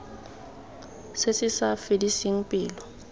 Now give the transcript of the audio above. se se sa fediseng pelo